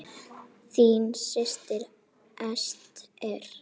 Þín systir, Ester.